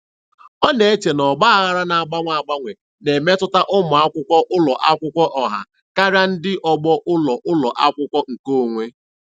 Ọ na-eche na ọgba aghara na-agbanwe agbanwe na-emetụta ụmụ akwụkwọ ụlọ akwụkwọ ọha karịa ndị ọgbọ ụlọ ụlọ akwụkwọ nkeonwe.